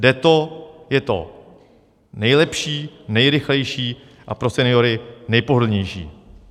Jde to, je to nejlepší, nejrychlejší a pro seniory nejpohodlnější.